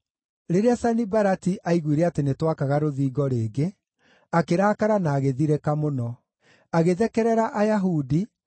Rĩrĩa Sanibalati aaiguire atĩ nĩtwakaga rũthingo rĩngĩ, akĩrakara na agĩthirĩka mũno. Agĩthekerera Ayahudi,